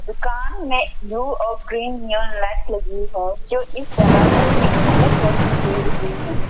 दुकान में ब्ल्यू और ग्रीन लाइट्स लगी हैं जो इस जगह को एक अलग रौशनी दे रही हैं।